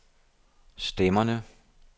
stemmerne